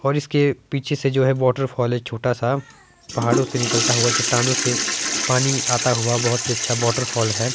और इसके पीछे से जो है वॉटरफॉल है छोटा सा पहाड़ों से निकलता हुआ चट्टानों से पानी आता हुआ बहुत ही अच्छा वॉटरफॉल है।